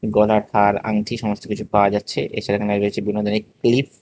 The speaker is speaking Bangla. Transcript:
গোলাকার আংটি সমস্ত কিছু পাওয়া যাচ্ছে এ সাইডে লাগানো রয়েছে বিভিন্ন ধরনের ক্লিপ ।